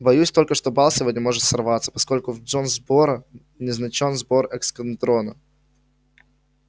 боюсь только что бал сегодня может сорваться поскольку в джонсборо назначён сбор эскадрона